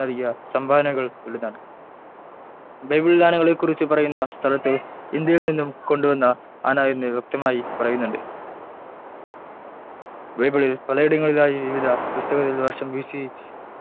നൽകിയ സംഭാവനകൾ വലുതാണ് ബൈബിളിൽ ആനകളെ കുറിച്ചു പറയുന്ന സ്ഥലത്തു ഇന്ത്യയിൽ നിന്നും കൊണ്ട് വന്ന ആന എൻ വ്യക്തമായി പറയുന്നുണ്ട് ബൈബിളിൽ പല ഇടങ്ങളിലെയായി വിവിധ പുസ്തകത്തിൽ വർഷം B. C